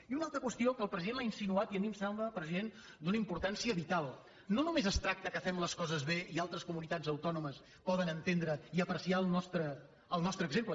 i una altra qüestió que el president l’ha insinuat i a mi em sembla president d’una importància vital no només es tracta que fem les coses bé i altres comuni tats autònomes poden entendre i apreciar el nostre exemple